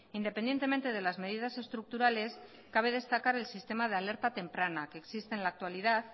independientemente de las medidas estructurales cabe destacar el sistema de alerta temprana que existe en la actualidad